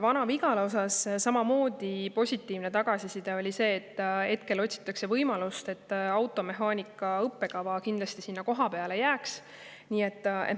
Vana-Vigala puhul on positiivne tagasiside see, et hetkel otsitakse võimalust, et automehaanika õppekava kindlasti sinna kohapeale jääks.